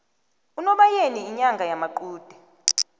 unobayeni inyanga yamaqude